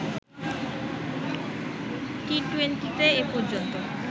টি-টুয়েন্টিতে এ পর্যন্ত